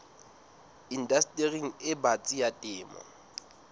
indastering e batsi ya temo